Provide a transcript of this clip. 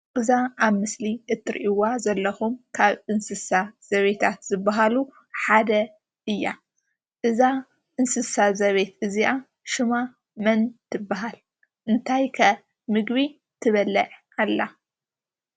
እዛ ኣብ ምስሊ እትርእይዋ ዘለኩም ካብ አንስሳ ዘቤታት ዝባሃሉ ሓደ እያ። እዛ እንስሳ ዘቤት እዚኣ ሽማ መን ትበሃል? እንታይ ከ ምግቢ ትበልዕ ኣላ?